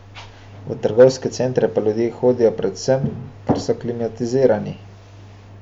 V trgovske centre pa ljudje hodijo predvsem, ker so klimatizirani.